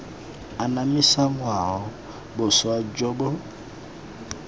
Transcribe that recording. anamisa ngwao boswa jo bo